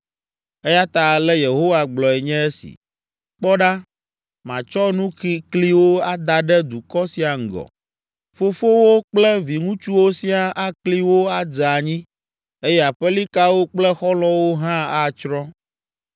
Eya ta ale Yehowa gblɔe nye esi: “Kpɔ ɖa, matsɔ nukikliwo ada ɖe dukɔ sia ŋgɔ. Fofowo kple viŋutsuwo siaa akli wo adze anyi eye aƒelikawo kple xɔlɔ̃wo hã atsrɔ̃.”